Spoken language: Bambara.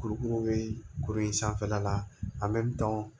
Kurukuru bɛ kuru in sanfɛla la an bɛ dɔn